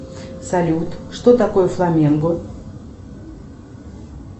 салют что такое фламенго